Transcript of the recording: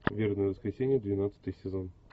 вербное воскресенье двенадцатый сезон